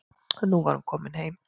Og nú var hún komin heim.